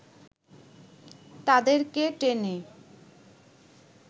তাদেরকে টেনে